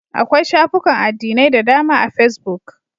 Akwai shafukan addinai da dama a fesbuk.